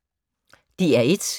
DR1